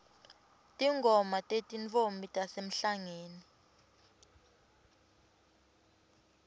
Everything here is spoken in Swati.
tingoma tetintfombi tasemhlangeni